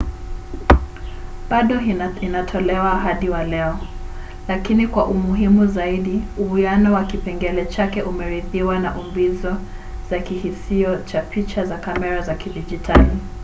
bado inatolewa hadi wa leo lakini kwa umuhimu zaidi uwiano wa kipengele chake umerithiwa na umbizo za kihisio cha picha za kamera za kidijitali